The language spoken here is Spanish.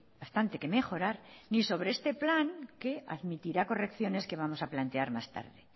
bastante que mejorar ni sobre este plan que admitirá correcciones que vamos a plantear más tarde